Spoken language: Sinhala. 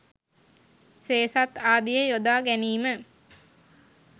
සේසත් ආදිය යොදා ගැනීම